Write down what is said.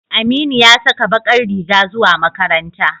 Aminu ya saka bakar riga zuwa makaranta.